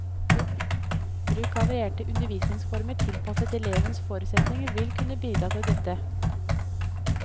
Bruk av varierte undervisningsformer tilpasset elevenes forutsetninger vil kunne bidra til dette.